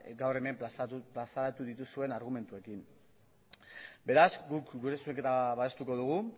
gaur hemen plazaratu dituzuen argumentuekin beraz guk gure zuzenketa babestuko dugu